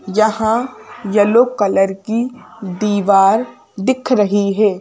यहां yellow colour की दीवार दिख रही है।